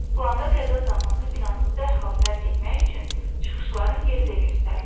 Planda qəza zamanı binanı dərhal tərk etmək üçün çıxışların yeri də göstərilir.